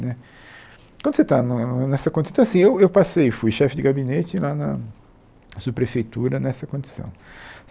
Né quando você está no nessa condição... Então assim, eu eu passei, fui chefe de gabinete lá na subprefeitura nessa condição.